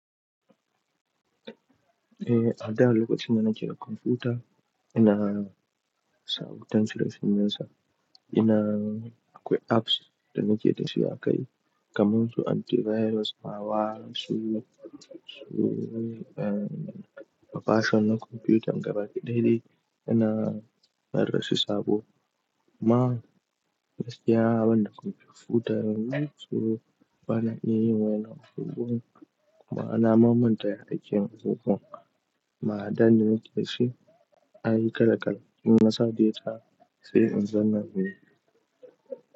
Eh, a da lokacin da nakeda kwamfuta ina sauka tan cire sune suna. Ina akwai apps da nake dashi akai kamar su antivirus, ma wa su, su, um, bafashon na kwamfuta, gabaki ɗai dai ina rarrasu sabo. Ma, yanzu gaskiya banda kwamfuta yanzu so bana iya yin wayannan abubuwan yanzu, kuma na ma manta ya akeyin buga. Ma'adanin da yake shi an yi kala-kala. In na saba da ita sai in zanta miki.